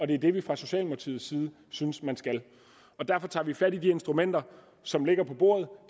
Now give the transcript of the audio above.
det er det vi fra socialdemokratiets side synes man skal derfor tager vi fat i de instrumenter som ligger på bordet